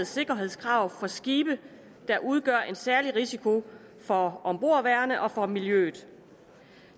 sikkerhedskrav for skibe der udgør en særlig risiko for ombordværende og for miljøet